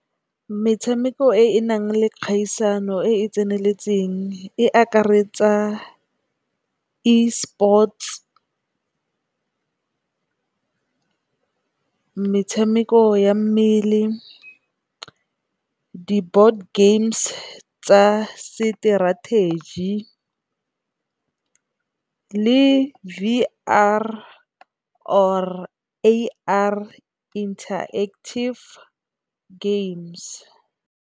Metshameko e e nang le kgaisano e e tseneletseng e akaretsa Esports, metshameko ya mmele, di board games tsa seterategi ka le V_R or A_R Interactive games.